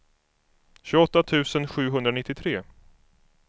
tjugoåtta tusen sjuhundranittiotre